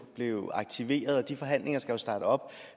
blev aktiveret og de forhandlinger skal starte op